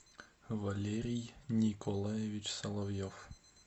валерий николаевич соловьев